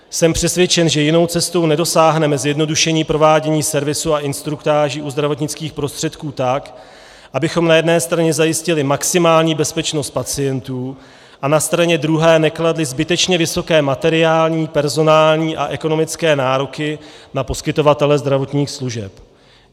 Jsem přesvědčen, že jinou cestou nedosáhneme zjednodušení provádění servisu a instruktáží u zdravotnických prostředků tak, abychom na jedné straně zajistili maximální bezpečnost pacientů a na straně druhé nekladli zbytečně vysoké materiální, personální a ekonomické nároky na poskytovatele zdravotních služeb.